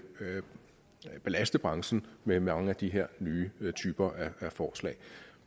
belaste branchen med mange af de her nye typer af forslag